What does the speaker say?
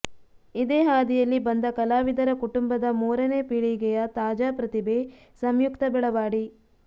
ಇದೇ ಹಾದಿಯಲ್ಲಿ ಬಂದ ಕಲಾವಿದರ ಕುಟುಂಬದ ಮೂರನೇ ಪೀಳಿಗೆಯ ತಾಜಾ ಪ್ರತಿಭೆ ಸಂಯುಕ್ತಾ ಬೆಳವಾಡಿ